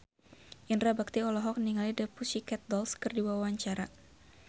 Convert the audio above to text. Indra Bekti olohok ningali The Pussycat Dolls keur diwawancara